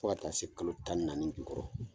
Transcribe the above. Fo ka taa se kalo tan ni naani jukɔrɔ.